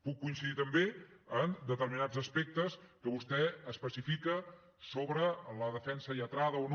puc coincidir també en determinats aspectes que vostè especifica sobre la defensa lletrada o no